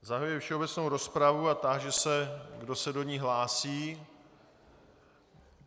Zahajuji všeobecnou rozpravu a táži se, kdo se do ní hlásí.